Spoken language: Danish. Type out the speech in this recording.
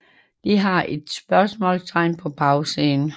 De har et spørgsmålstegn på bagsiden